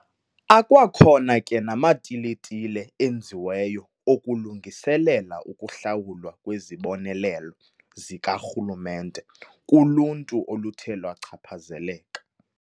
Akwakhona ke namatiletile enziweyo okulungiselela ukuhlawulwa kwezibonelelo zikarhulumente kuluntu oluthe lwachaphazeleka.